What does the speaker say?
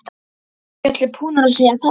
Eru ekki allir búnir að segja það?